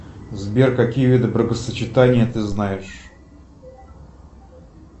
сбер какие виды бракосочетания ты знаешь